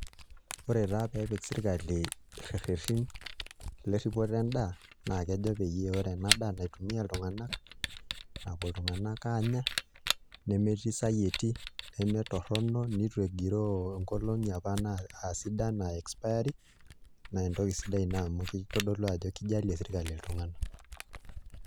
Ore taa pee epik sirkali irerreni lerripoto endaa naa kejo peyie ore ena daa naitumia iltung'anak, napuo iltung'anak aanya nemetii isayieti nemetorrono, nitu egiroo ngolong'i apa aa sidan, aa expiry date naa entoki sidai ina amu kitodolu ajo kijalie sirkali iltung'anak.